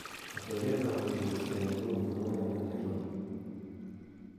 atebeet ab koristo inguni kounee en nairobi